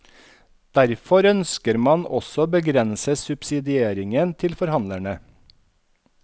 Derfor ønsker man også å begrense subsidieringen til forhandlerne.